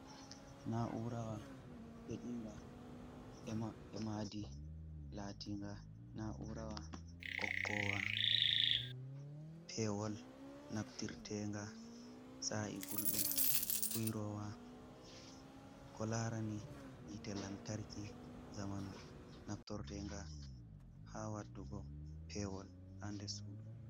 Naurawa pedinga emmadi latinga naurawa ɓokowa pewol naftirtenga tsa’i gulɗum kuirowa ko larani yitte lantarki zamanu naftortenga ha wadugo pewol ha nder sudu.